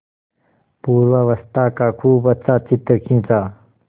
पूर्वावस्था का खूब अच्छा चित्र खींचा